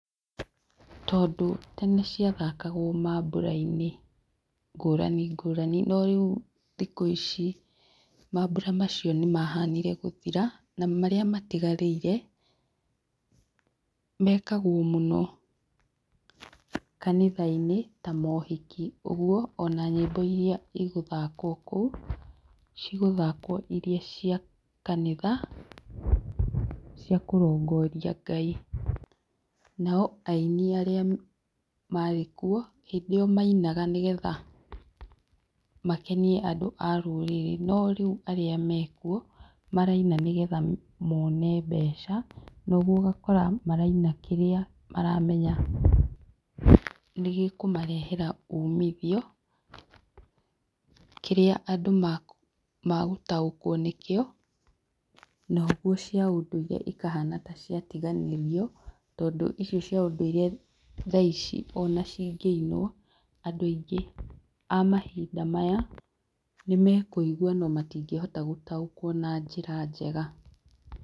Tondũ tene cia thakagwo mambura-inĩ ngũrani ngũrani ,no rĩu thikũ ici mambura macio nĩ mahanire gũthira ,na marĩa matigarĩire mekagwo mũno, kanitha-inĩ ta mohiki ũguo ona nyĩmbo iria ĩgũthakwo kũu, cigũthakwo iria cia kanitha cia kũrongoria Ngai, nao aini arĩa marĩ kuo ,hĩndĩ ĩyo mainaga nĩgetha makenie andũ a rũrĩrĩ no rĩu arĩa mekuo maraina nĩgetha mone mbeca, noguo ũgakora maraina kĩrĩa maramenya nĩgĩkũmarehera umithio, kĩrĩa andũ magũtaũkwo nĩkĩo noguo cia ũndũire ikahana ta cia tiganĩrio tondũ icio cia ũndũire thaa ici ona cingĩinwo andũ aingĩ a mahinda maya nĩ mekũigwa no matingĩhota gũtaũkwo na njĩra njega.